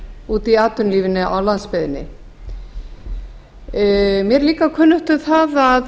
úti í atvinnulífinu á landsbyggðinni mér er líka kunnugt um það